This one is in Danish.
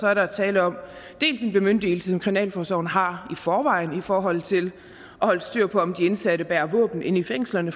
er der tale om dels en bemyndigelse som kriminalforsorgen har i forvejen i forhold til at holde styr på om de indsatte bærer våben i fængslerne